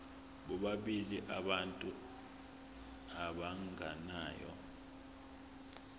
bobabili abantu abagananayo